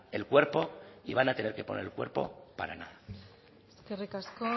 el cuerpo y van a tener que poner el cuerpo para nada eskerrik asko